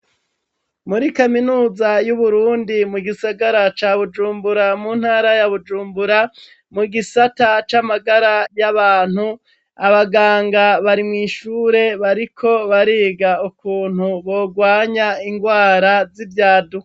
Muri kaminuza yu Burundi mu Gisagara ca Bujumbura muntara ya Bujumbura mu gisata camagara yabantu, abaganga barimwishure biga ukuntu bogwanya ingwara yivyaduka.